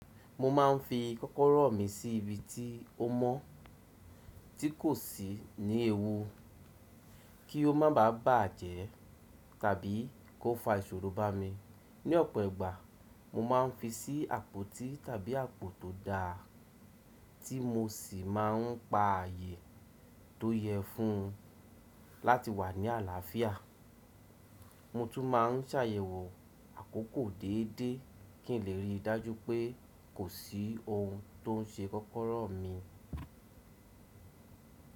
Mo ma n fi kọ́kọ́rọ́ mi si ibi ti o mọ̀ tí kò sí ni ewu ki ó má bà bàjẹ́ tàbí kó fa iṣoro bá mi. Ní ọ̀pọ̀ ìgbà mo maa n fi sí àpótí tàbí àpò tó dáa ti mo sì máa ń pa ààyè tó yẹ fún láti wà ní àlàáfíà. Mo tú máa ń ṣàyẹ̀wọ́ àkókò déédéé kì n lé rí i dájú pé kò sí ohun tó ń ṣe kọ́kọ́rọ́ mi.